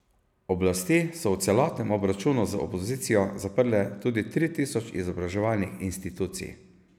Oblasti so v celostnem obračunu z opozicijo zaprle tudi tri tisoč izobraževalnih institucij.